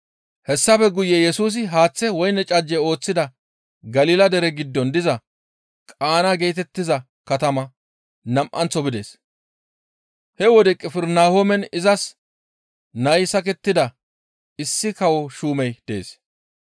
Hessafe guye Yesusi haaththe woyne cajje ooththida Galila dere giddon diza Qaana geetettiza katamaa nam7anththo bides. He wode Qifirnahoomen izas nay sakettida issi kawo shuumey dees.